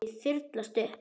Rykið þyrlast upp.